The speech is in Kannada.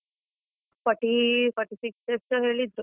Forty forty-six ಎಷ್ಟೋ ಹೇಳಿದ್ರು.